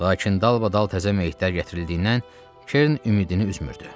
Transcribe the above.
Lakin dalbadal təzə meyitlər gətirildiyindən Kerrin ümidini üzmürdü.